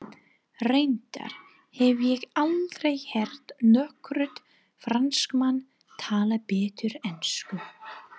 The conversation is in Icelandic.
Reyndar hef ég aldrei heyrt nokkurn Fransmann tala betur ensku.